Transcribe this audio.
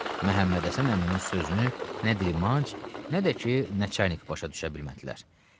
Məhəmmədhəsən əminin sözünü nə dilmanc, nə də ki, Nəçərnik başa düşə bilmədilər.